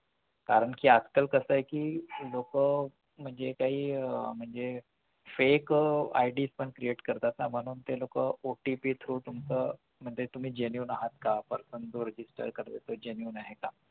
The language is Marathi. कारण कि आजकाल कसं आहे कि म्हणजे लोकं जे काही अं म्हणजे एक ID पण create करतात ना म्हणून ते लोकं OTPthrough तुमचं तुम्ही genuine आहात का genuine आहे का